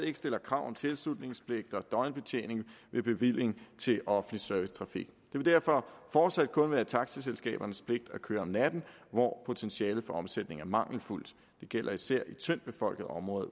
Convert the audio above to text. ikke stiller krav om tilslutningspligt og døgnbetjening ved bevilling til offentlig servicetrafik vil derfor fortsat kun være taxiselskabernes pligt at køre om natten hvor potentialet for omsætning er mangelfuldt det gælder især i tyndtbefolkede områder